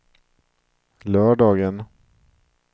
lördagen